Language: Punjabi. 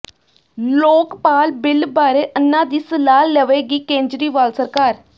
ਲੋਕਪਾਲ ਬਿੱਲ ਬਾਰੇ ਅੰਨਾ ਦੀ ਸਲਾਹ ਲਵੇਗੀ ਕੇਜਰੀਵਾਲ ਸਰਕਾਰ